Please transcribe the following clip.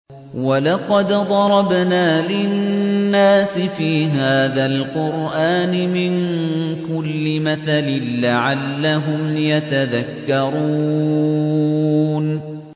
وَلَقَدْ ضَرَبْنَا لِلنَّاسِ فِي هَٰذَا الْقُرْآنِ مِن كُلِّ مَثَلٍ لَّعَلَّهُمْ يَتَذَكَّرُونَ